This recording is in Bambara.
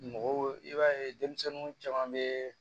Mɔgɔw i b'a ye denmisɛnninw caman bɛ